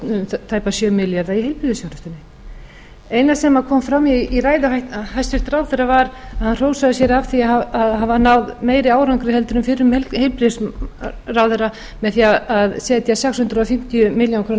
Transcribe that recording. um tæpa sjö milljarða í heilbrigðisþjónustunni það eina sem kom fram í ræðu hæstvirts ráðherra var að hann hrósaði sér af því að hafa náð meiri árangri en fyrrum heilbrigðisráðherra með því að setja sex hundruð fimmtíu milljónir króna